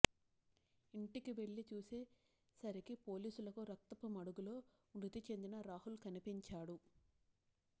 ఇంటికి వెళ్లి చూసే సరికి పోలీసులకు రక్తపుమడుగులో మృతి చెందిన రాహుల్ కనిపించాడు